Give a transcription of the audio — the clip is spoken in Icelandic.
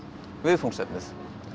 viðfangsefnið